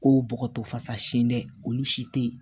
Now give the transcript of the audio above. Ko bɔgɔtɔ fasa sin dɛ olu si tɛ yen